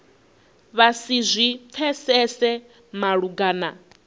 vha si zwi pfesese malugana